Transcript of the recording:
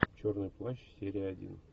черный плащ серия один